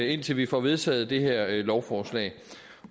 indtil vi får vedtaget det her lovforslag